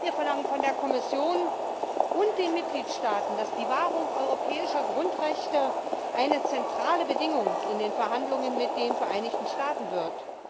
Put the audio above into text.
Wir verlangen von der Kommission und den Mitgliedstaaten, dass die Wahrung europäischer Grundrechte eine zentrale Bedingung in den Verhandlungen mit den Vereinigten Staaten wird.